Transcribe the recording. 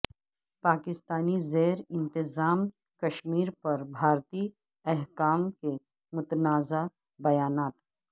پاکستانی زیر انتظام کشمیر پر بھارتی حکام کے متنازع بیانات